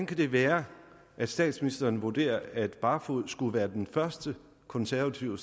kan være at statsministeren vurderer at barfoed skulle være den første konservative